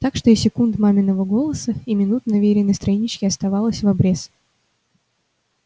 так что и секунд маминого голоса и минут на вериной страничке оставалось в обрез